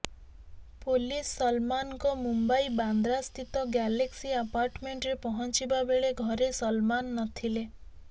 police ସଲମାନଙ୍କ ମୁମ୍ବାର ବାନ୍ଦ୍ରାସ୍ଥିତ ଗ୍ୟାଲେକ୍ସି ଆପାର୍ଟମେଣ୍ଟରେ ପହଞ୍ଚିବା ବେଳେ ଘରେ ସଲମାନ ନଥିଲେ